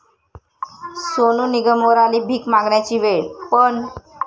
सोनू निगमवर आली भीक मागण्याची वेळ पण...